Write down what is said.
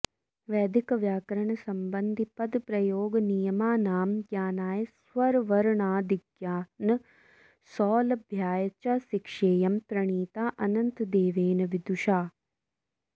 वैदिकव्याकरणसम्बन्धिपदप्रयोगनियमानां ज्ञानाय स्वरवर्णादिज्ञानसौलभ्याय च शिक्षेयं प्रणीता अनन्तदेवेन विदुषा